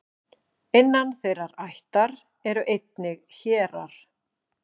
innan þeirrar ættar eru einnig hérar